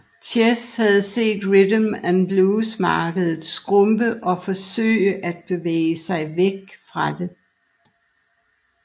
Chess havde set rhythm and blues markedet skrumpe og forsøgte at bevæge sig væk fra det